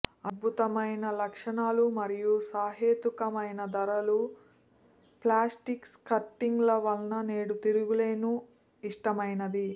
అద్భుతమైన లక్షణాలు మరియు సహేతుకమైన ధరల ప్లాస్టిక్ స్కిర్టింగ్ వల్ల నేడు తిరుగులేని ఇష్టమైనది